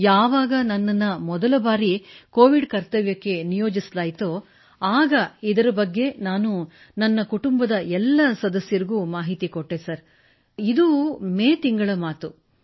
ಯಾವಾಗ ನನ್ನನ್ನು ಮೊದಲ ಬಾರಿ ಕೋವಿಡ್ ಕರ್ತವ್ಯಕ್ಕೆ ನಿಯೋಜಿಸಲಾಯಿತೊ ಆಗ ಇದರ ಬಗ್ಗೆ ನನ್ನ ಕುಟುಂಬದ ಸದಸ್ಯರಿಗೆ ಮಾಹಿತಿ ನೀಡಿದೆ ಇದು ಮೇ ತಿಂಗಳ ಮಾತು